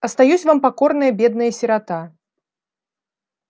остаюсь вам покорная бедная сирота